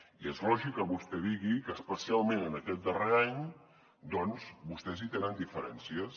i és lògic que vostè digui que especialment en aquest darrer any doncs vostès hi tenen diferències